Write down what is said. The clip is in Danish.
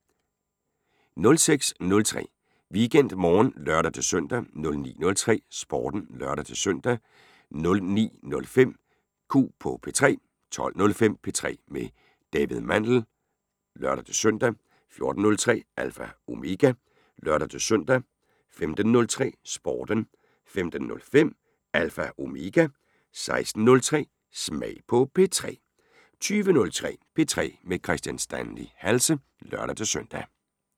06:03: WeekendMorgen (lør-søn) 09:03: Sporten (lør-søn) 09:05: Q på P3 12:05: P3 med David Mandel (lør-søn) 14:03: Alpha Omega (lør-søn) 15:03: Sporten 15:05: Alpha Omega 16:03: Smag på P3 20:03: P3 med Kristian Stanley Halse (lør-søn)